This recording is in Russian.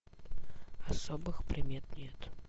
особых примет нет